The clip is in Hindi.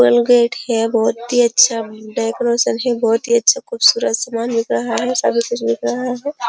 कोलगेट है बहोत ही अच्छा उं डेकोरेशन है। बहोत अच्छा ख़ूबसूरत सामान बिक रहा है। सब कुछ बिक रहा है।